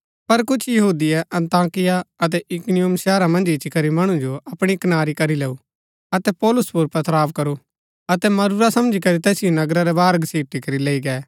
पर कुछ यहूदिये अन्ताकिया अतै इकुनियुम शहरा मन्ज इच्ची करी मणु जो अपणी कनारी करी लैऊ अतै पौलुस पुर पथराव करू अतै मरूरा समझी करी तैसिओ नगरा रै बाहर घसीटी करी लैई गै